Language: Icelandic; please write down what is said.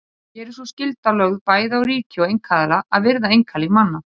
Hér er sú skylda lögð bæði á ríki og einkaaðila að virða einkalíf manna.